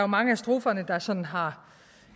mange af stroferne der sådan har